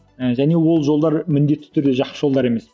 және ол жолдар міндетті түрде жақсы жолдар емес